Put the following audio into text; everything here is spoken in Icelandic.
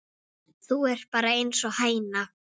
Þú ert bara einsog hæna.